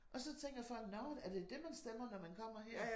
Og så tænker folk nå er det dét man stemmer når man kommer her